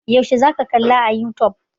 Yaushe za ka kalla a youtube?